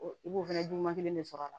I b'o fana juguman kelen de sɔrɔ a la